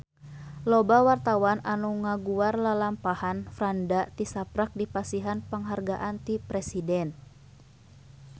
Loba wartawan anu ngaguar lalampahan Franda tisaprak dipasihan panghargaan ti Presiden